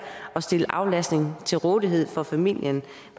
at stille aflastning til rådighed for familien